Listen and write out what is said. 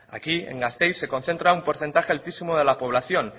aquí en gasteiz se concentra un porcentaje altísimo de la población